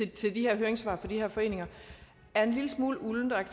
til høringssvarene fra de her foreninger er en lille smule uldne og jeg